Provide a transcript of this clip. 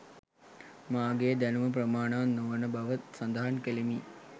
මාගේ දැනුම ප්‍රමාණවත් නොවන බවද සඳහන් ‍කළෙමි